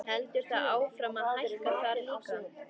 Heldur það áfram að hækka þar líka?